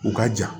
U ka ja